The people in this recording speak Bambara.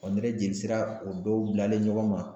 jeli sira o dɔw bilalen ɲɔgɔn ma